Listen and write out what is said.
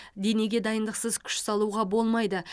денеге дайындықсыз күш салуға болмайды